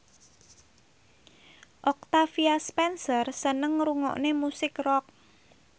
Octavia Spencer seneng ngrungokne musik rock